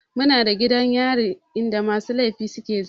Muna da gidan yari in da musu laifi suke zama